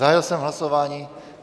Zahájil jsem hlasování.